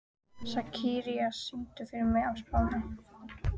Sakarías, syngdu fyrir mig „Á Spáni“.